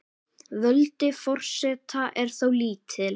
Völd forseta eru þó lítil.